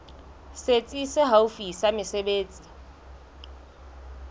setsi se haufi sa mesebetsi